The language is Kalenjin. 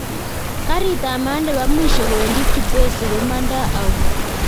Garit ab maat nebo mwisho kowendi kibwezi komando au